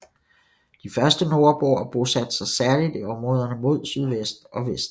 De første nordboere bosatte sig særligt i områderne mod sydvest og vest